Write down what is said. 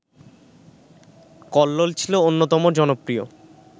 কল্লোল ছিল অন্যতম জনপ্রিয়